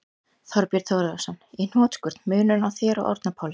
Þorbjörn Þórðarson: Í hnotskurn, munurinn á þér og Árna Páli?